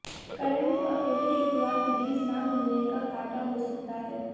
करण को अकेले शुक्रवार रिलीज ना मिलने का घाटा हो सकता है